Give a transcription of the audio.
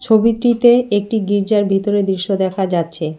ছবিটিতে একটি গির্জার ভিতরের দৃশ্য দেখা যাচ্ছে।